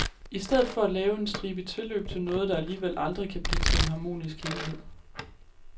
I stedet for at lave en stribe tilløb til noget, der alligevel aldrig kan blive til en harmonisk helhed.